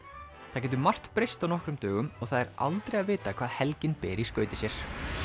það getur margt breyst á nokkrum dögum og það er aldrei að vita hvað helgin ber með í skauti sér